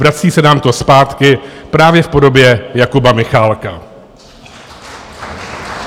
Vrací se nám to zpátky právě v podobě Jakuba Michálka.